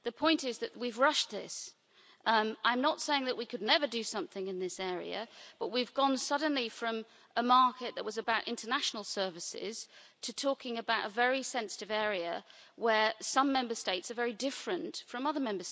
The point is that we've rushed this. I'm not saying that we could never do something in this area, but we've gone suddenly from a market that was about international services to talking about a very sensitive area where some Member States are very different from others.